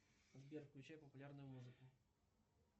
сбер включай популярную музыку